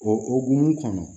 O o hukumu kɔnɔ